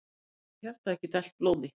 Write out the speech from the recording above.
Þá getur hjartað ekki dælt blóði.